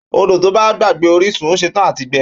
Ódò tọ gbà gbàgbẹ òrisún, ò sẹ tàn àtí gbẹ